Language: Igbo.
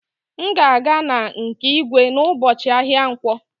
M ga-aga na nke igwe n'ụbọchị ahịa nkwọ